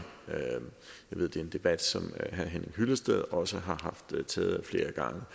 jeg ved det er en debat som herre henning hyllested også har haft taget ad flere